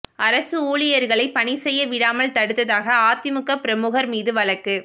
அரசு ஊழியா்களை பணி செய்ய விடாமல் தடுத்ததாக அதிமுக பிரமுகா் மீது வழக்கு